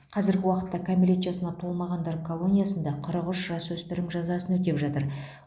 қазіргі уақытта кәмелет жасына толмағандар колониясында қырық үш жасөспірім жазасын өтеп жатыр